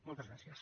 moltes gràcies